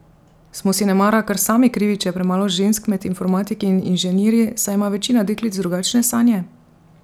Smo si nemara kar sami krivi, če je premalo žensk med informatiki in inženirji, saj ima večina deklic drugačne sanje?